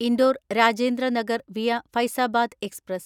Indore Rajendra Nagar via Faizabad express